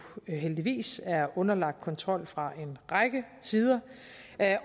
heldigvis er underlagt kontrol fra en række sider